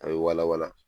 A bɛ wala wala